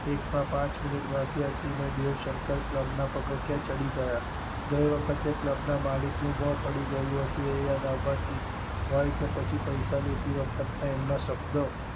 એક માં પાંચ મિનિટ બાકી હતી ને પછી દેવ શંકર ક્લબ ના પગથિયાં ચઢી ગયા. ગઈ વખતે ક્લબ ના માલિક નું મોં પડી ગયું હતું એ યાદ આવવાથી હોય કે પછી પૈસા દેતી વખત ના એમના શબ્દો